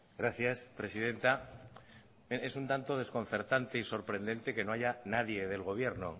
gracias presidenta es un tanto desconcertante y sorprendente que no hay nadie del gobierno